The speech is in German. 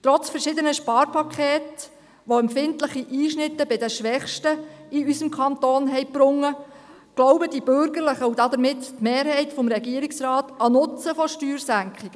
Trotz verschiedener Sparpakete, welche empfindliche Einschnitte für die Schwächsten in unserem Kanton gebracht haben, glauben die Bürgerlichen und damit die Mehrheit des Regierungsrats an den Nutzen von Steuersenkungen.